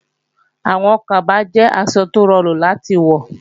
Àwọn kaba jẹ́ aṣọ tó rọrùn láti wọ